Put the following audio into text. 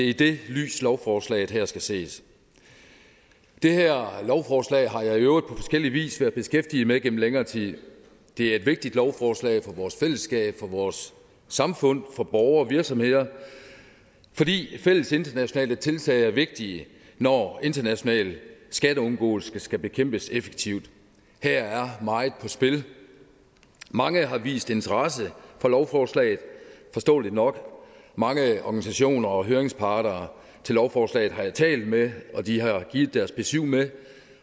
i det lys lovforslaget her skal ses det her lovforslag har jeg i øvrigt vis været beskæftiget med gennem længere tid det er et vigtigt lovforslag for vores fællesskab for vores samfund for borgere og virksomheder fordi fælles internationale tiltag er vigtige når international skatteundgåelse skal bekæmpes effektivt her er meget på spil mange har vist interesse for lovforslaget forståeligt nok mange organisationer og høringsparter i lovforslaget har jeg talt med og de har givet deres besyv med